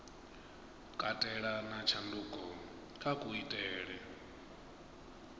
katela na tshanduko kha kuitele